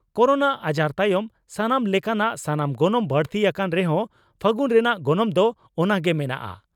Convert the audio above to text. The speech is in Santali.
ᱠᱚᱨᱳᱱᱟ ᱟᱡᱟᱨ ᱛᱟᱭᱚᱢ ᱥᱟᱱᱟᱢ ᱞᱮᱠᱟᱱᱟᱜ ᱥᱟᱢᱟᱱ ᱜᱚᱱᱚᱝ ᱵᱟᱹᱲᱛᱤ ᱟᱠᱟᱱ ᱨᱮᱦᱚᱸ ᱯᱷᱟᱹᱜᱩᱱ ᱨᱮᱱᱟᱜ ᱜᱚᱱᱚᱝ ᱫᱚ ᱚᱱᱟ ᱜᱮ ᱢᱮᱱᱟᱜᱼᱟ ᱾